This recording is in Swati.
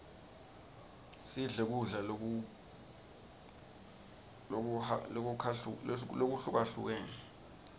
sidle kudla lokuhukahlukene